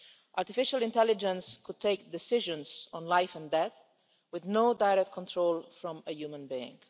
Artificial intelligence could take decisions on life and death, with no direct control from a human being.